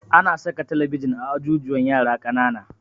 Ana saka talabijin a ajujuwan yara ƙanana